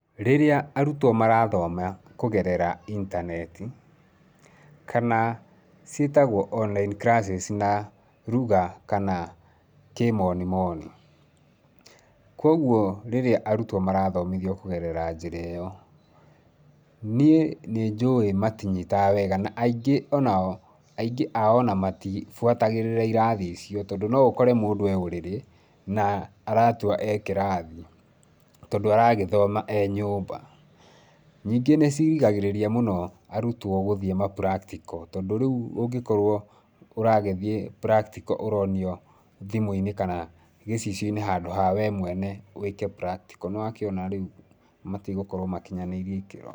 Rĩrĩa arutwo marathoma kũgerera intaneti, kana ciĩtagwo online classes na lugha kana kĩmonimoni. Kwoguo rĩrĩa arutwo marathomithio kũgerera njĩra ĩyo, niĩ nĩ njũĩ matinyitaga wega na ingĩ o nao, aingĩ ao o na matibuatagĩrĩra irathi icio tondũ no ũkore mũndũ e ũrĩrĩ, na aratua e kĩrathi, tondũ aragĩthoma e nyũmba. Ningĩ nĩ cirigagĩrĩria mũno arutwo gũthiĩ ma practical tondũ rĩu ũngĩkorwo ũragĩthiĩ practical, ũronio thimũ-inĩ kana gĩcicio-inĩ handũ ha we mwene wĩke practical, nĩ wakĩona rĩu matigokorwo makinyanĩirie ikĩro.